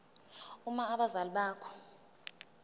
uma abazali bakho